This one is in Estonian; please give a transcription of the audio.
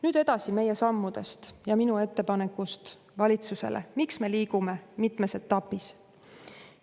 Nüüd meie sammudest ja minu ettepanekust valitsusele, miks me liigume mitmes etapis.